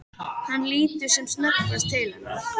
Hann lítur sem snöggvast til hennar.